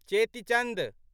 चेति चन्द